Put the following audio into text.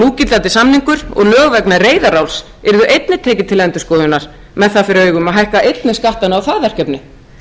núgildandi samningur og lög vegna reyðaráls yrðu einnig tekin til endurskoðunar með það fyrir augum að hækka einnig skattana á það verkefni